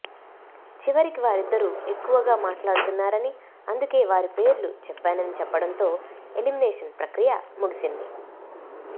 చివరికి వారిద్దరు ఎక్కవగా మాట్లాడుతున్నారని అందుకే వారి పేర్లు చెప్పానని చెప్పడంతో ఎలిమినేషన్ ప్రక్రియ ముగిసింది